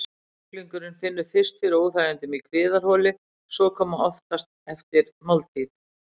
Sjúklingurinn finnur fyrst fyrir óþægindum í kviðarholi, sem koma oftast eftir máltíð.